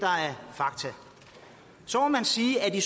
fakta så må man sige at i